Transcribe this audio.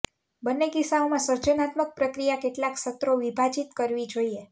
બંને કિસ્સાઓમાં સર્જનાત્મક પ્રક્રિયા કેટલાક સત્રો વિભાજિત કરવી જોઈએ